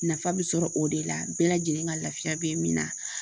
Nafa bɛ sɔrɔ o de la bɛɛ lajɛlen ka lafiya bɛ min na